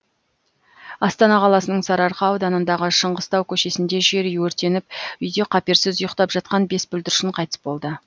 астана қаласының сарыарқа ауданындағы шыңғыстау көшесінде жер үй өртеніп үйде қаперсіз ұйықтап жатқан бес бүлдіршін қайтыс болды